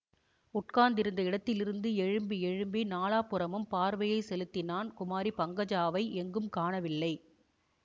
உட்கார்ந்திருந்த இடத்திலிருந்து எழும்பி எழும்பி நாலாபுறமும் பார்வையை செலுத்தினான் குமாரி பங்கஜாவை எங்கும் காணவில்லை